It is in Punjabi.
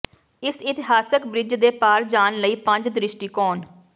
ਇਸ ਇਤਿਹਾਸਕ ਬ੍ਰਿਜ ਦੇ ਪਾਰ ਜਾਣ ਲਈ ਪੰਜ ਦ੍ਰਿਸ਼ਟੀਕੋਣ